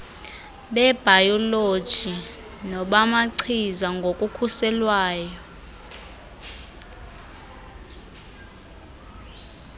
bebhayoloji nobamachiza ngokukhuselayo